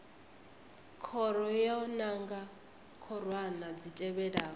khoro yo nanga khorwana dzi tevhelaho